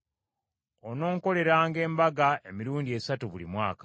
“Ononkoleranga embaga emirundi esatu buli mwaka.